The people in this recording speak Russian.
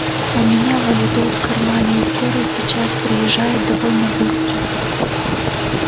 у меня валидол в кармане и скорая сейчас приезжает довольно быстро